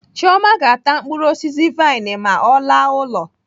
Chioma ga-ata mkpụrụ osisi vain ma ọ laa ụlọ.